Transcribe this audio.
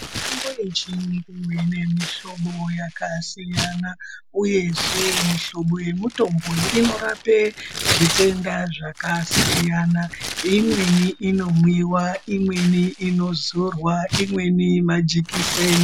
Mitombo yechiyungu inemihlobo yakasiyana, uyezve mihlobo yemitombo iyi inorape zvitenda zvakasiyana imweni inomwiwa, imweni inozorwa, imweni majekiseni.